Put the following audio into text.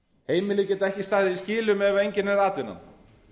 heimilin geta ekki staðið í skilum ef engin er atvinnan